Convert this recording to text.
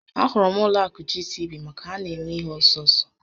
A hụrụ m ụlọ akụ GTB maka na ha na eme ihe ọsọ ọsọ